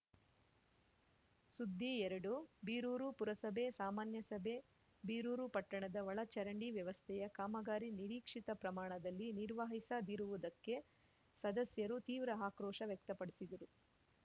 ಸುದ್ದಿಎರಡು ಬೀರೂರು ಪುರಸಭೆ ಸಾಮಾನ್ಯಸಭೆ ಬೀರೂರು ಪಟ್ಟಣದ ಒಳಚರಂಡಿ ವ್ಯವಸ್ತೆಯ ಕಾಮಗಾರಿ ನಿರೀಕ್ಷಿತ ಪ್ರಮಾಣದಲ್ಲಿ ನಿರ್ವಹಿಸದಿರುವುದಕ್ಕೆ ಸದಸ್ಯರು ತೀವ್ರ ಆಕ್ರೋಶ ವ್ಯಕ್ತಪಡಿಸಿದರು